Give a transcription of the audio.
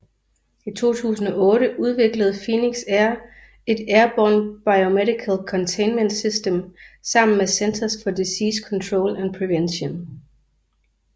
I 2008 udviklede Phoenix Air et Airborne Biomedical Containment System sammen med Centers for Disease Control and Prevention